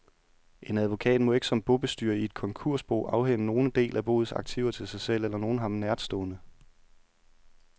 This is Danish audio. En advokat må ikke som bobestyrer i et konkursbo afhænde nogen del af boets aktiver til sig selv eller nogen ham nærtstående.